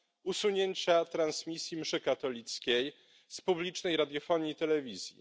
usunięcia transmisji mszy katolickiej z publicznej radiofonii i telewizji.